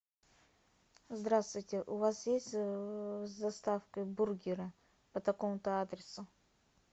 здравствуйте у вас есть с доставкой бургеры по такому то адресу